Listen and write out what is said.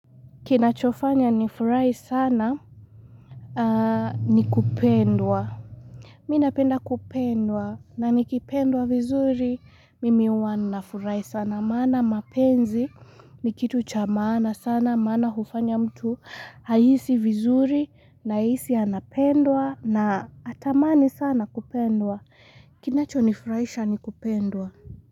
Kina chofanya nifurai sana nikupendwa Mina penda kupendwa nani kipendwa vizuri mimi wanu na furai sana Mana mapenzi ni kitu chamaana sana Mana hufanya mtu Ayisi vizuri na ayisi anapendwa na atamani sana kupendwa Kinachofanya nifurai sana nikupendwa.